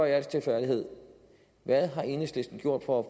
al stilfærdighed hvad har enhedslisten gjort for at